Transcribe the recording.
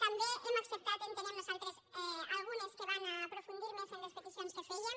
també hem acceptat entenem nosaltres algunes que van a aprofundir més en les peticions que fèiem